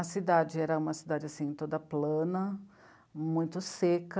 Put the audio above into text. A cidade era uma cidade assim, toda plana, muito seca.